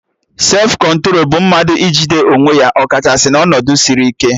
Sefụ kọntro bụ mmadụ ijide onwe ya ọ kachasị na ọnọdụ sịrị ike